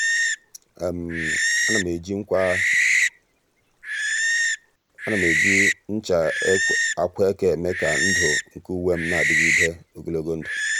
à nà m ejì nchá ákwà eke èmé kà ndụ́ nke uwe m nà-adị́gídè ogologo ndụ.